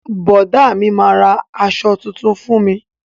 Bọ̀dá mi, ma ra aṣọ tuntun fún mi.